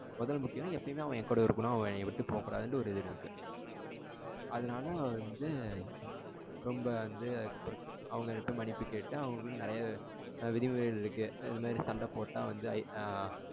முதல்ல முக்கியம்னா? எப்பயுமே அவன் என் கூட இருக்கணும். அவன்என்ன விட்டுப் போகக்கூடாதுனுட்டு ஒரு இது இருக்கு. அதனால அவ வந்து ரொம்ப வந்து அதுக்கு அப்புறம் அவங்க கிட்ட மன்னிப்பு கேட்டு அவங்களுக்குளா நெறைய விதிமுறை இந்த மாதிரி சண்டை போட்டா